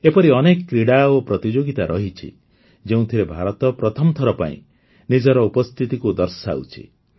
ଏପରି ଅନେକ କ୍ରୀଡ଼ା ଓ ପ୍ରତିଯୋଗିତା ରହିଛି ଯେଉଁଥିରେ ଭାରତ ପ୍ରଥମ ଥର ପାଇଁ ନିଜର ଉପସ୍ଥିତିକୁ ଦର୍ଶାଉଛି